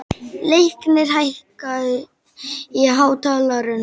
Leiknir, hækkaðu í hátalaranum.